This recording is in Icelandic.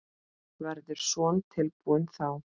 Verður Son tilbúinn þá?